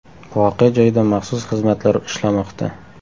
Voqea joyida maxsus xizmatlar ishlamoqda.